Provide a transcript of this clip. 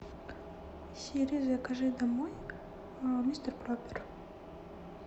сири закажи домой мистер пропер